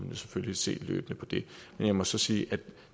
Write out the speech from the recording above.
man selvfølgelig se løbende på det men jeg må så sige at